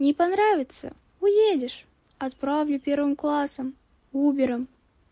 не понравится уедешь отправлю первым классом убером